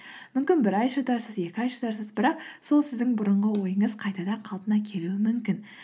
мүмкін бір ай шыдарсыз екі ай шыдарсыз бірақ сол сіздің бұрынғы ойыңыз қайтадан қалпына келуі мүмкін